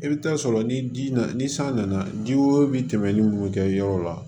I bɛ taa sɔrɔ ni ji nana ni san nana ji o bi tɛmɛ ni munnu kɛ yɔrɔ la